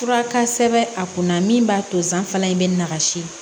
Fura ka sɛbɛn a kunna min b'a to zan fana bɛ na kasi